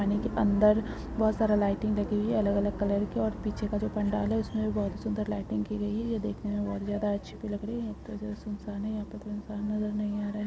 पानी के अंदर बोहोत सारे लाइटिंग लगी है अलग-अलग कलर की और पीछे का जो पंडाल है और उसमें भी बोहोत ही सुन्दर लाइटिंग की गई है। यह देखने में बोहोत ज्यादा अच्छी तो लग रही है। ये बोहोत सुनसान है यहाँ पे कोई इंसान नज़र नहीं आ रा है।